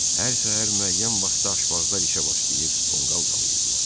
Hər səhər müəyyən vaxtda aşbazlar işə başlayır, tonqal qalayirdılar.